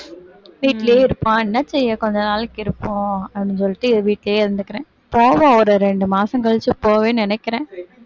வீட்டிலயே இருப்போம் என்ன செய்ய கொஞ்ச நாளைக்கு இருப்போம் அப்படின்னு சொல்லிட்டு வீட்டிலயே இருந்துக்கிறேன், போவோம் ஒரு ரெண்டு மாசம் கழிச்சு போவேன்னு நினைக்கிறேன்